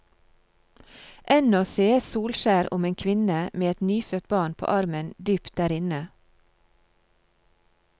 Ennå sees solskjær om en kvinne med et nyfødt barn på armen dypt der inne.